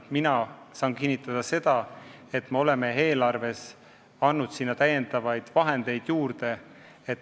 Mina saan kinnitada seda, et me oleme eelarvest andnud sinna lisaraha juurde.